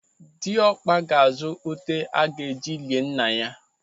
Dịọkpa ga-azụ ute aga-eji lie nna ya.